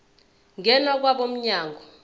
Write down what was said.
ngena kwabo mnyango